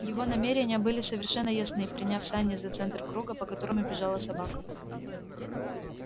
его намерения были совершенно ясны приняв сани за центр круга по которому бежала собака